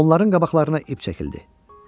Onların qabaqlarına ip çəkildi.